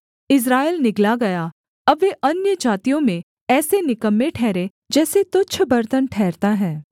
इस्राएल निगला गया अब वे अन्यजातियों में ऐसे निकम्मे ठहरे जैसे तुच्छ बर्तन ठहरता है